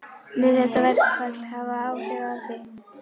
Mun þetta verkfall hafa áhrif á þig?